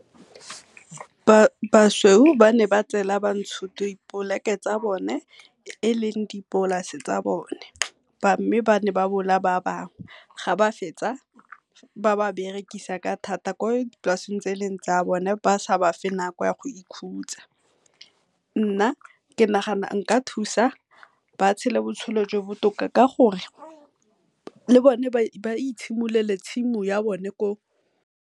Basweu ba ne ba tseela bantsho tsa bone e leng dipolase tsa bone ba bangwe ga ba fetsa ba ba berekisa ka thata ko dipolaseng tse e leng tsa bone ba sa ba fe nako ya go ikhutsa. Nna ke nagana nka thusa ba tshele botshelo jo bo botoka ka gore le bone ba itshimololele tshimo ya bone ko.